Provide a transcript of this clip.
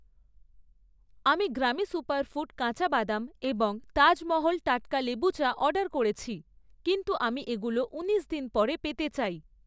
আমি গ্রামি সুপারফুড কাঁচা বাদাম এবং তাজ মহল টাটকা লেবু চা অর্ডার করেছি কিন্তু আমি এগুলো ঊনিশ দিন পরে পেতে চাই।